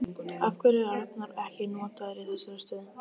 Af hverju er Arnór ekki notaður í þeirri stöðu?